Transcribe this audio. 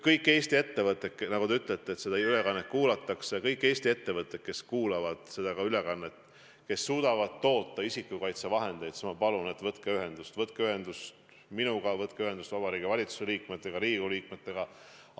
Kõik Eesti ettevõtjad – nagu te ütlete, seda ülekannet kuulatakse –, kes kuulavad seda ülekannet ja kes suudavad toota isikukaitsevahendeid, ma palun, võtke ühendust minuga, võtke ühendust Vabariigi Valitsuse liikmetega, Riigikogu liikmetega.